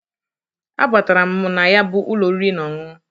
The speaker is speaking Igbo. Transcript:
A batara m na ya bụ ụlọ oriri na ọṅụṅụ.